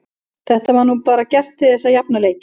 Þetta var nú bara gert til þess að jafna leikinn.